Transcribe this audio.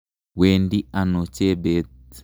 Wendi ano Chebet?